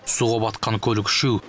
суға батқан көлік үшеу